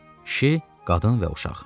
Kişi, qadın və uşaq.